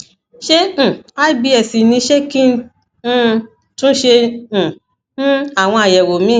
ṣé um ibs ni ṣé kí n um tún ṣe um um àwọn àyẹwò míì